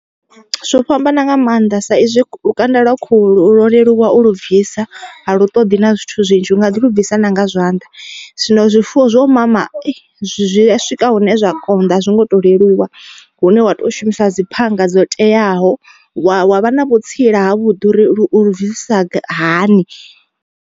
Zwo fhambana nga maanḓa sa izwi lukanda lwa khulu lwo leluwa u lu bvisa a lu ṱoḓi na zwithu zwinzhi u nga ḓi lu bvisa nanga zwanḓa. Zwino zwifuwo zwo mama zwi a swika hune zwa konḓa a zwi ngo to leluwa, hune wa to shumisa dzi phanga dzo teaho wa wa vha na vhutsila ha vhuḓi uri lu ulu bvisisa hani.